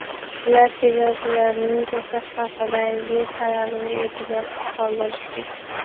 Ular chegarachilarning to‘xtash haqidagi talabini e’tiborsiz qoldirishgan.